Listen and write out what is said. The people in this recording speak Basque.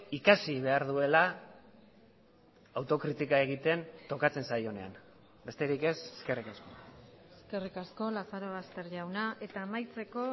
ikasi behar duela autokritika egiten tokatzen zaionean besterik ez eskerrik asko eskerrik asko lazarobaster jauna eta amaitzeko